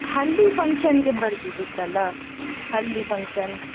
हल्दी function ಗೆ ಬರ್ಬೋದಿತ್ತಲ್ಲ हल्दी function .